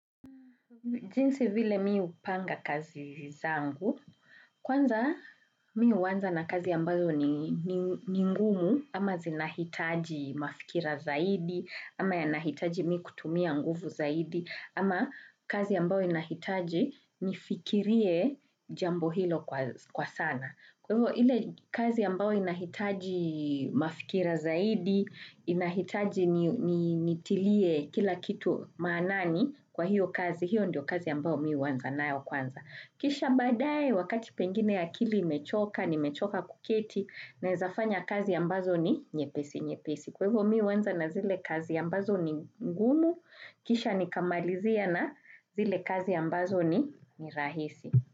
Jinsi vile mi upanga kazi zangu, kwanza mi uanza na kazi yambazo ni ngumu, ama zinahitaji mafikira zaidi, ama yanahitaji mikutumia nguvu zaidi, ama kazi ambayo inahitaji nifikirie jambo hilo kwa sana. Kwa hivyo ile kazi ambayo inahitaji mafikira zaidi, inahitaji nitilie kila kitu maanani kwa hiyo kazi, hiyo ndio kazi ambayo mi uanza nayo kwanza. Kisha badae wakati pengine ya akili imechoka, nimechoka kuketi, naezafanya kazi ambazo ni nyepesi, nyepesi. Kwa hivyo mi uanza na zile kazi ambazo ni ngumu, kisha nikamalizia na zile kazi ambazo ni ni rahisi.